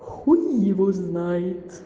хуй его знает